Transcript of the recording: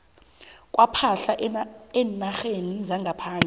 kwepahla eenarheni zangaphandle